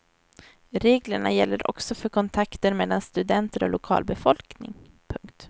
Reglerna gäller också för kontakter mellan studenter och lokalbefolkning. punkt